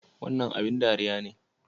Wannan abin ɗariya ne?